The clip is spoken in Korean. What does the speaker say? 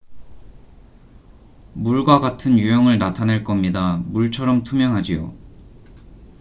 """물과 같은 유형을 나타낼 겁니다. 물처럼 투명하지요.